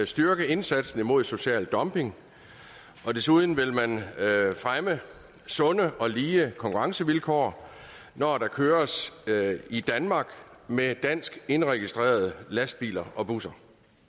styrke indsatsen mod social dumping og desuden vil man fremme sunde og lige konkurrencevilkår når der køres i danmark med danskindregistrerede lastbiler og busser